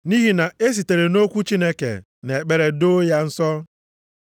nʼihi na-esitere nʼokwu Chineke na ekpere doo ya nsọ.